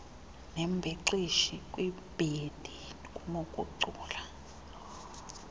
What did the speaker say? nembhexeshi kwibhendi kunokucula